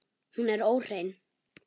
Hún er óhrein.